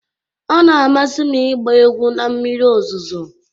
Ọ na-amasị m ịgba egwu na mmiri ozuzo.